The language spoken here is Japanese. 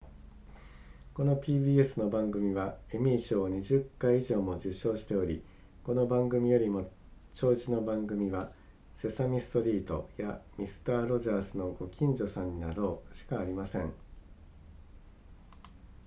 この pbs の番組はエミー賞を20回以上も受賞しておりこの番組よりも長寿の番組はセサミストリートやミスターロジャースのご近所さんになろうしかありません